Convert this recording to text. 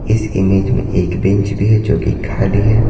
इस इमेज में एक बेंच भी है जो कि खाली है।